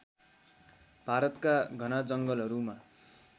भारतका घना जङ्गलहरूमा